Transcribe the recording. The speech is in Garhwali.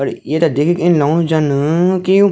और येथे देखिकी इन लगणु जन की युं --